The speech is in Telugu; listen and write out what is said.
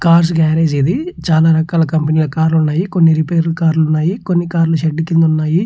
కార్స్ గర్రజే ఇది చాలా రకాల కంపెనీ ల కార్ లు ఉన్నాయ్ కొన్ని రిపేర్ కార్ లు ఉన్నాయ్ కొన్ని షెడ్ కింద ఉన్నాయ్.